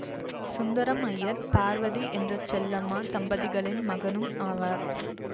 சுந்தரம் அய்யர் பார்வதி என்ற செல்லம்மா தம்பதிகளின் மகனும் ஆவார்